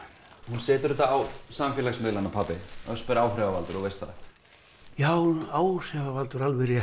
hún setur þetta á samfélagsmiðla pabbi Ösp er áhrifavaldur þú veist það já hún áhrifavaldur alveg rétt